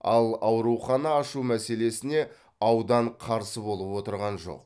ал аурухана ашу мәселесіне аудан қарсы болып отырған жоқ